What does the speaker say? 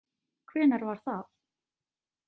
Hvenær var það?